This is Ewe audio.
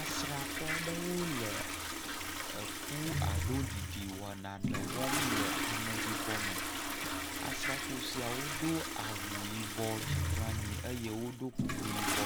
Asrafoa aɖewo le ku alo ameɖiɖi wɔm le ɖibɔ me asrafo siawo do awu yibɔ dzi kple anyi amewo ɖɔ kuku yibɔ